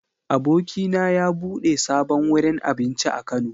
Abokina ya bude sabon wurin abinci a Kano.